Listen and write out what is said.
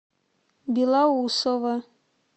белоусово